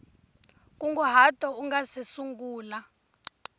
nkunguhato u nga si sungula